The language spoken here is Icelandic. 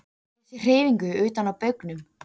Ég sé hreyfingu utan á baugnum.